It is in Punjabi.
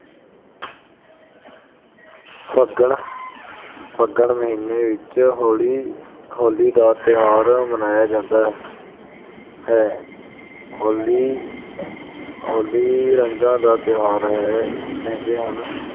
ਫੱਗਣ ਅਹ ਫੱਗਣ ਮਹੀਨੇ ਵਿੱਚ ਹੋਲੀ ਅਹ ਹੋਲੀ ਦਾ ਤਿਉਹਾਰ ਮਨਾਇਆ ਜਾਂਦਾ ਹੈ । ਹੋਲੀ ਅਹ ਹੋਲੀ ਰੰਗਾਂ ਦਾ ਤਿਉਹਾਰ ਹੈ। ਕਹਿੰਦੇ ਹਨ